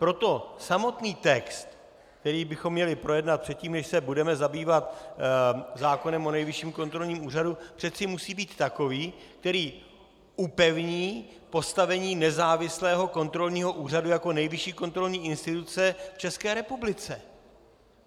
Proto samotný text, který bychom měli projednat předtím, než se budeme zabývat zákonem o Nejvyšším kontrolním úřadu, přece musí být takový, který upevní postavení nezávislého kontrolního úřadu jako nejvyšší kontrolní instituce v České republice.